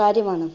കാര്യമാണ്.